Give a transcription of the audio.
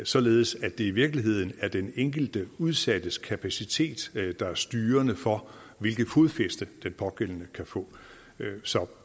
således at det i virkeligheden er den enkelte udsattes kapacitet der er styrende for hvilket fodfæste den pågældende kan få så